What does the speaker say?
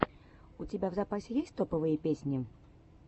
у тебя в запасе есть топовые песни